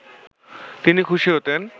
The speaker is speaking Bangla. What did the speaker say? তিনি খুশি হতেন